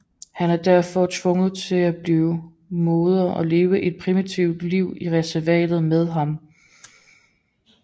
Hun er derfor tvunget til at blive moder og leve et primitivt liv i reservatet med ham